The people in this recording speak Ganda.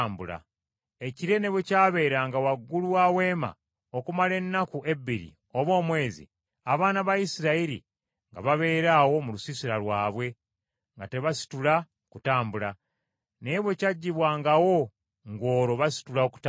Ekire ne bwe kyabeeranga waggulu wa Weema okumala ennaku ebbiri oba omwezi, abaana ba Isirayiri nga babeera awo mu lusiisira lwabwe nga tebasitula kutambula; naye bwe kyaggyibwangawo ng’olwo basitula okutambula.